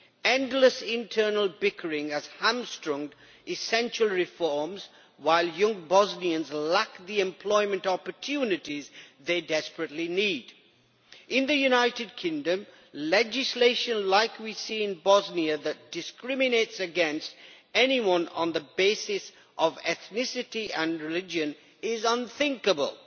Endless internal bickering has hamstrung essential reforms, while young Bosnians lack the employment opportunities they desperately need. In the United Kingdom, legislation like we see in Bosnia that discriminates against anyone on the basis of ethnicity and religion is unthinkable.